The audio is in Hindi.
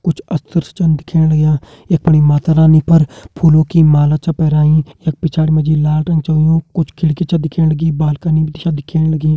कुछ अस्त्र छन दिखेण लग्यां यख फणी माता रानी पर फूलों की माला छा पैराईं यख पिछाड़ी मा जी लाल रंग छ होयुं कुछ खिड़की छ दिखेण लगीं बालकनी भी छा दिखेण लगीं।